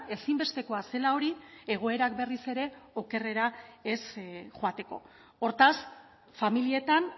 ezinbestekoa zela hori egoerak berriz ere okerrera ez joateko hortaz familietan